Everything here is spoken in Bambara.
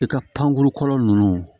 I ka pankuru kɔlɔlɔ ninnu